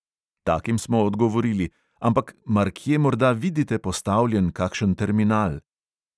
Takim smo odgovorili: "ampak mar kje morda vidite postavljen kakšen terminal?"